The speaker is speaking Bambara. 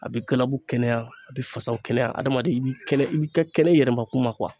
A bɛ galabu kɛnɛya a bɛ fasaw o kɛnɛ ya adamaden i bi kɛnɛ i bi ka kɛnɛ i yɛrɛ ma kuma